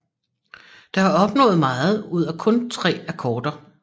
Der er opnået meget ud af kun tre akkorder